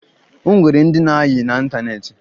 O nwere ndị na-ayị n'ịntaneetị